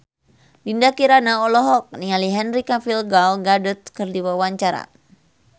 Dinda Kirana olohok ningali Henry Cavill Gal Gadot keur diwawancara